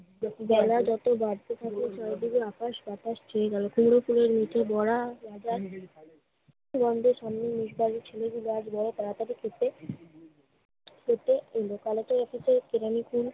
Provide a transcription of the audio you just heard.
বেলা যত বাড়তে থাকে চারদিকে আকাশ বাতাস ছেয়ে গেল। কুমড়ো ফুলের নিচে বড়া গন্ধে-ছন্দে বাড়ির ছেলেগুলো আজ বড় তাড়াতাড়ি খেতে খেতে এলো। তাহলেতো অফিসে